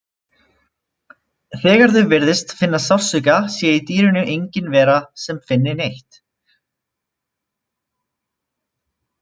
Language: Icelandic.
Þegar þau virðist finna sársauka sé í dýrinu engin vera sem finni neitt.